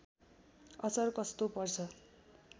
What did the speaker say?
असर कस्तो पर्छ